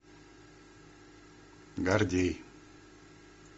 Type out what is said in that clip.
гордей